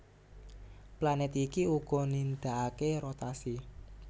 Planèt iki uga nindakaké rotasi